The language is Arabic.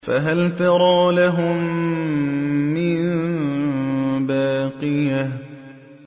فَهَلْ تَرَىٰ لَهُم مِّن بَاقِيَةٍ